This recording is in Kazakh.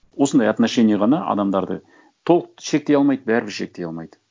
осындай отношение ғана адамдарды толық шектей алмайды бәрібір шектей алмайды